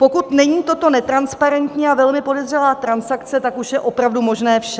Pokud není toto netransparentní a velmi podezřelá transakce, tak už je opravdu možné vše.